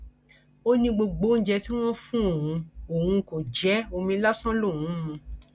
ó ní gbogbo oúnjẹ tí wọn fún òun òun kò jẹ ẹ omi lásán lòún ń mu